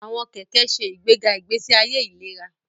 Àwọn kẹkẹ ṣe ìgbéga ìgbésí ayé ìlera